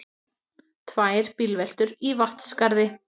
Tvær bílveltur í Vatnsskarði